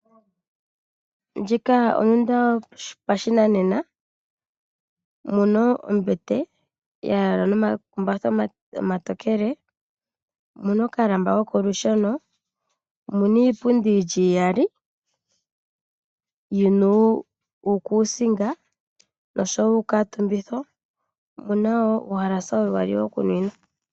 Ondunda yopashinanena moka mu na ombete ya yalwa nomakumbatha omatokele. Omu na okalamba kokolusheno. Omu na iipundi yi li iyali yi na uukuusinga noshowo uukuutumbitho nomu na wo uuhalasa uyali wokunwina.